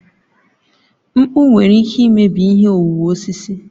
Mkpu nwere ike imebi ihe owuwu osisi.